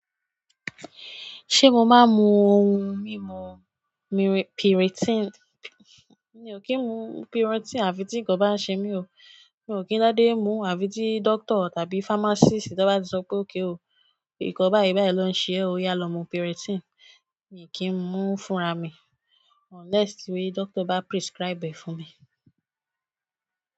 Ṣé mo máa ń mu ohun mímu mir-- piritin? Mi o ki n mu pirotini afi ti nkan ba se mi o. Mi ò kí ń dádé mu àfi tí dókítà tàbí fámásìstì bá ti sọ pé okay o. Nǹkan báyìí báyìí ló ń ṣe ẹ́ o, yá lọ mu piritin. Mi ò kí ń mu fúnra mi unless ti dókítà bá prescribe ẹ̀ fún mi.